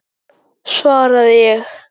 svaraði ég.